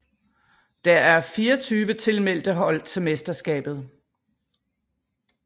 Der er 24 tilmeldte hold til mesterskabet